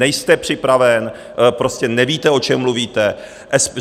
Nejste připraven, prostě nevíte, o čem mluvíte.